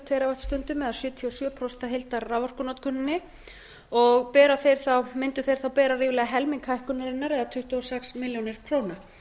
teravattstundum eða sjötíu og sjö prósent af heildarraforkunotkuninni og mundu þeir þá bera ríflega helming hækkunarinnar eða tuttugu og sex milljónir króna